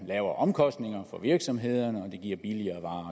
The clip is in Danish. lavere omkostninger for virksomhederne og det giver billigere